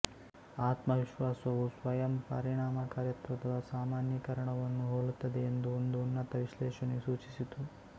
ಆತ್ಮವಿಶ್ವಾಸವು ಸ್ವಯಂ ಪರಿಣಾಮಕಾರಿತ್ವದ ಸಾಮಾನ್ಯೀಕರಣವನ್ನು ಹೋಲುತ್ತದೆ ಎಂದು ಒಂದು ಉನ್ನತ ವಿಶ್ಲೇಷಣೆಯು ಸೂಚಿಸಿತು